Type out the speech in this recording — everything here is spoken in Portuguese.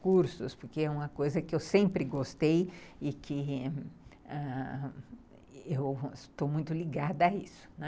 cursos, porque é uma coisa que eu sempre gostei e que eu estou muito ligada a isso, né.